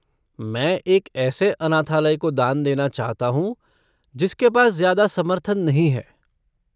मैं एक ऐसे अनाथालय को दान देना चाहता हूँ जिसके पास ज्यादा समर्थन नहीं है।